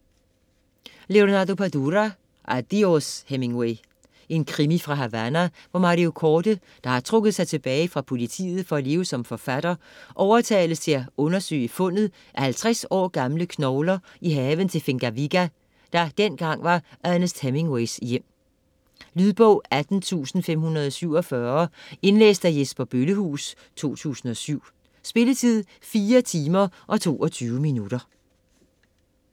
Padura, Leonardo: Adiós Hemingway Krimi fra Havana, hvor Mario Corde, der har trukket sig tilbage fra politiet for at leve som forfatter, overtales til at undersøge fundet af 50 år gamle knogler i haven til Finca Viga, der dengang var Ernest Hemingways hjem. Lydbog 18547 Indlæst af Jesper Bøllehuus, 2007. Spilletid: 4 timer, 22 minutter.